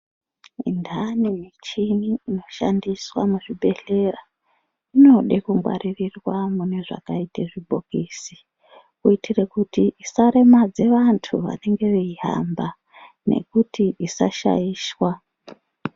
Mintani michini inoshandiswa muzvibhedhlera inoda kungwaririrwa mune zvakaite zvibhokisi kuitire kuti isaremedza vantu vanenge veihamba nekuti isashaishwa.